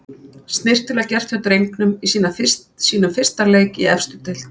Snyrtilega gert hjá drengnum í sínum fyrsta leik í efstu deild.